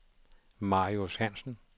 Marius Hansen